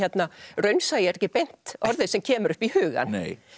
raunsæi er ekki beint orðið sem kemur upp í hugann